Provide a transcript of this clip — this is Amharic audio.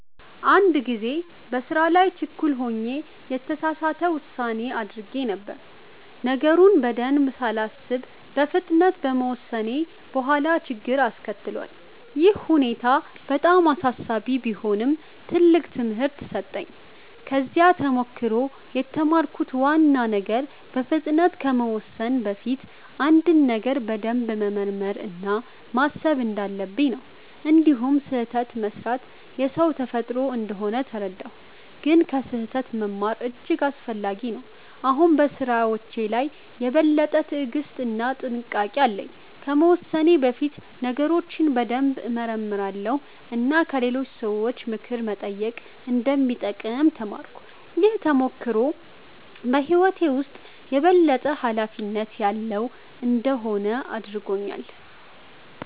አንድ ጊዜ በስራ ላይ ችኩል ሆኜ የተሳሳት ውሳኔ አድርጌ ነበር። ነገሩን በደንብ ሳላስብ በፍጥነት በመወሰኔ በኋላ ችግር አስከትሏል። ይህ ሁኔታ በጣም አሳሳቢ ቢሆንም ትልቅ ትምህርት ሰጠኝ። ከዚህ ተሞክሮ የተማርኩት ዋና ነገር በፍጥነት ከመወሰን በፊት አንድን ነገር በደንብ መመርመር እና ማሰብ እንዳለብኝ ነው። እንዲሁም ስህተት መስራት የሰው ተፈጥሮ እንደሆነ ተረዳሁ፣ ግን ከስህተት መማር እጅግ አስፈላጊ ነው። አሁን በስራዎቼ ላይ የበለጠ ትዕግስት እና ጥንቃቄ አለኝ። ከመወሰኔ በፊት ነገሮችን በደንብ እመረምራለሁ እና ከሌሎች ሰዎች ምክር መጠየቅ እንደሚጠቅም ተማርኩ። ይህ ተሞክሮ በህይወቴ ውስጥ የበለጠ ኃላፊነት ያለው እንድሆን አድርጎኛል።